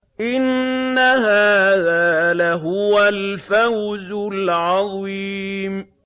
إِنَّ هَٰذَا لَهُوَ الْفَوْزُ الْعَظِيمُ